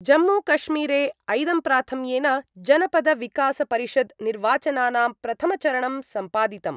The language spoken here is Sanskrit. जम्मूकश्मीरे ऐदम्प्राथम्येन जनपदविकासपरिषद् निर्वाचनानां प्रथमचरणं सम्पादितम्।